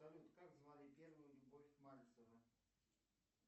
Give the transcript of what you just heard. салют как звали первую любовь мальцева